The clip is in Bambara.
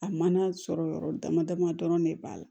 A mana sɔrɔ yɔrɔ dama dama dɔrɔn de b'a la